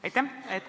Aitäh!